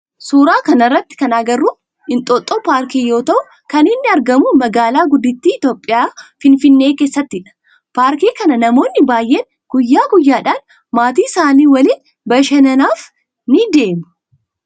Suuraa kana irratti kana agarru Inxooxxoo paarkii yoo ta'u kan innii itti argamu magaalaa guddittii Itiyoophiyaa Finfinnee keessattidha. Paarkii kana namoonni baayyeen guyyaa guyyaadhan maatii isaanii waliin bashannanaaf ni deema.